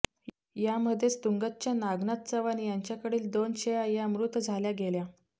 यामधेच तुंगतच्या नागनाथ चव्हाण यांच्याकडील दोन शेळया या मृत झाल्या गेल्या